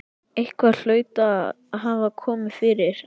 Eitthvað hlaut að hafa komið fyrir.